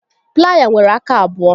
Playa nwere aka abụọ